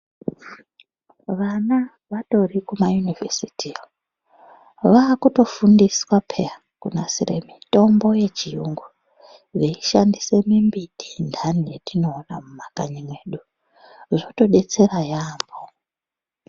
Vana vatori kumay univhesitiyo vaakuto fundiswa pheya, kunasire mitombo yechiyungu veishandise mimbiti antani yatinoona mumakanyi medu, zvatobetsera yaamho.